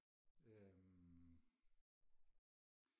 øhm